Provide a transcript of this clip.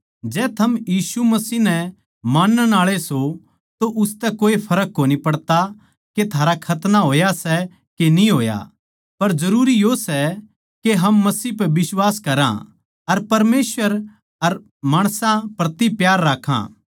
जै थम यीशु मसीह नै मानण आळे सों तो उसतै कोए फर्क कोनी पड़ता के थारा खतना होया सै के न्ही होया पर जरूरी यो सै के हम मसीह पै बिश्वास करां अर परमेसवर अर माणसां प्रति प्यार राक्खा